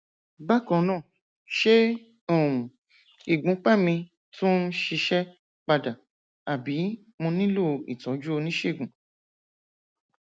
bákan náà ṣé um ìgbúnpá mi tún ń ṣiṣẹ padà àbí mo nílò ìtọjú oníṣègùn